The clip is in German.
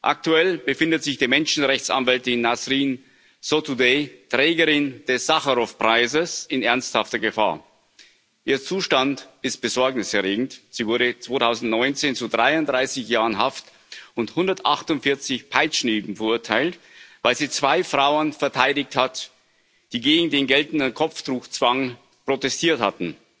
Aktuell befindet sich die Menschenrechtsanwältin Nasrin Sotoudeh, Trägerin des Sacharow Preises, in ernsthafter Gefahr ihr Zustand ist besorgniserregend. Sie wurde 2019 zu 33 Jahren Haft und 148 Peitschenhieben verurteilt, weil sie zwei Frauen verteidigt hat, die gegen den geltenden Kopftuchzwang protestiert hatten.